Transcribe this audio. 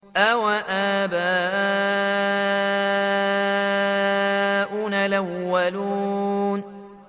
أَوَآبَاؤُنَا الْأَوَّلُونَ